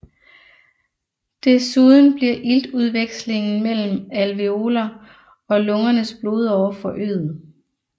Desuden bliver iltudvekslingen mellem alveoler og lungernes blodårer forøget